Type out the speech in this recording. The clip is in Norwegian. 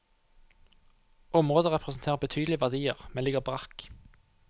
Området representerer betydelige verdier, men ligger brakk.